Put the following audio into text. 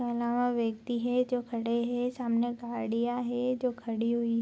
के आलावा व्यक्ति है जो खड़े है सामने गाड़िया है जो खड़ी हुई --